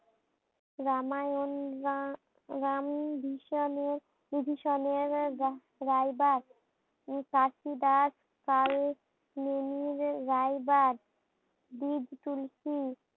রামায়ণ রাম রামভিশনের ভিশনের রাইবার। খাকিদাস পাল উনি রাইবার বিগ চুলকি